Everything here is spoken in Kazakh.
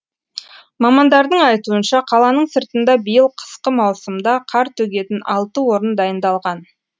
мамандардың айтуынша қаланың сыртында биыл қысқы маусымда қар төгетін алтын орын дайындалған